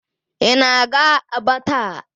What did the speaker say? Ị na-aga Aba taa?